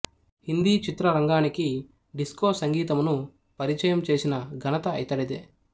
హిందీ చిత్రరంగానికి డిస్కో సంగీతమును పరిచయము చేసిన ఘనత ఇతడిదే